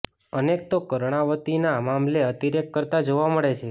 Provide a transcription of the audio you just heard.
અનેક તો કર્ણાવતીના મામલે અતિરેક કરતા જોવા મળે છે